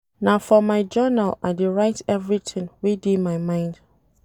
Na for my jounal I dey write everytin wey dey my mind.